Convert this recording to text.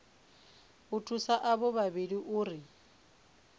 u thusa avho vhavhili uri